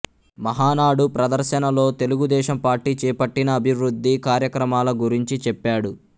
మహానాడు ప్రదర్శనలో తెలుగుదేశం పార్టీ చేపట్టిన అభివృద్ధి కార్యక్రమాల గురించి చెప్పాడు